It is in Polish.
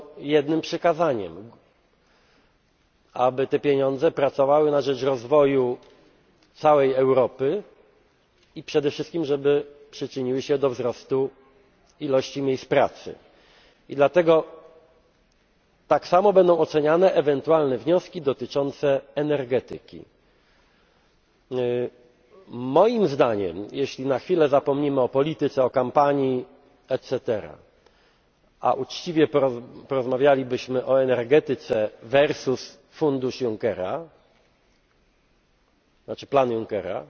i będą się oni kierować jednym przykazaniem aby te pieniądze pracowały na rzecz rozwoju całej Europy i przede wszystkim, żeby przyczyniły się do wzrostu ilości miejsc pracy. I dlatego tak samo będą oceniane ewentualne wnioski dotyczące energetyki. Moim zdaniem, jeśli na chwilę zapomnimy o polityce, o kampanii etc., a uczciwie porozmawialibyśmy o energetyce versus fundusz Junckera,